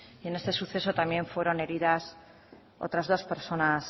en este suceso también fueron heridas otras dos personas